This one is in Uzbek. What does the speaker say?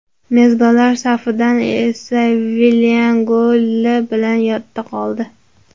Mezbonlar safidan esa Villian goli bilan yodda qoldi.